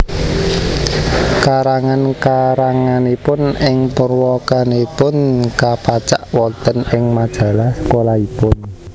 Karangan karanganipun ing purwakanipun kapacak wonten ing majalah sekolahipun